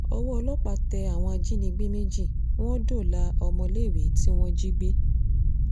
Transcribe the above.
ọwọ́ ọlọ́pàá tẹ àwọn ajínigbé méjì wọ́n dóòlà ọmọléèwé tí wọ́n jí gbé